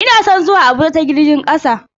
Ina son zuwa Abuja ta jirgin kasa.